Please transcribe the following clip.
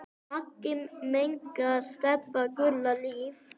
Megi minning Stebba Gull lifa.